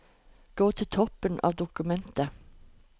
Gå til toppen av dokumentet